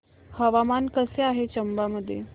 हवामान कसे आहे चंबा मध्ये